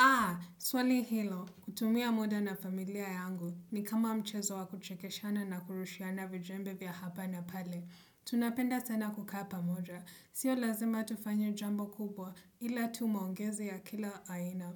Aa, swali hilo. Kutumia muda na familia yangu ni kama mchezo wa kuchekeshana na kurushiana vijembe vya hapa na pale. Tunapenda sana kukapa moja. Sio lazima tufanye jambo kubwa ila tu maongezi ya kila aina.